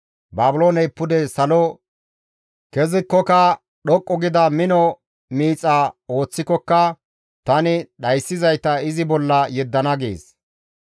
Baabilooney pude salo kezikokka, dhoqqu gida mino miixa ooththikokka tani dhayssizayta izi bolla yeddana» gees.